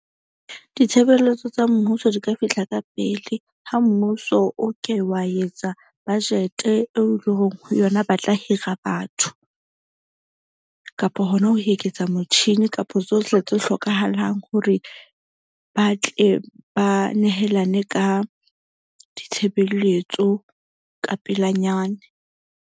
Ditshebeletso tsa mmuso di ka fihla ka pele ha mmuso o ke wa etsa budget-e eo e leng ho yona ba tla hira batho. Kapo hona ho eketsa motjhini kapa tsohle tse hlokahalang hore ba tle ba nehelane ka ditshebeletso ka pelanyana.